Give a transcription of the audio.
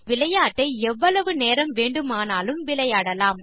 இந்த விளையாட்டை எவ்வளவு நேரம் வேண்டுமானாலும் விளையாடலாம்